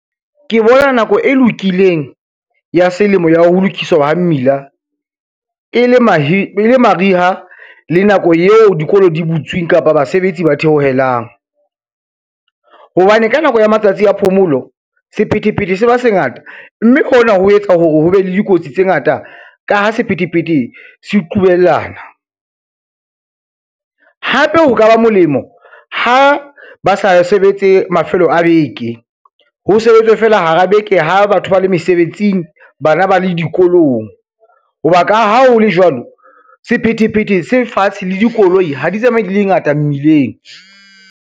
Ke bona nako e lokileng ya selemo ya ho lokisa mmila e le mariha le nako eo dikolo di butsweng kapa basebetsi ba theohelang, hobane ka nako ya matsatsi a phomolo sephethephethe se ba se ngata, mme hona ho etsa hore ho be le dikotsi tse ngata ka ha sephethephethe se kubuyelana. Hape ho ka ba molemo ha ba sa sebetse mafelo a beke, ho sebetswe fela hara beke ha batho ba le mesebetsing, bana ba le dikolong. Ho ba ka ha ho le jwalo, sephethephethe se fatshe le dikoloi ha di tsamaye di le ngata mmileng.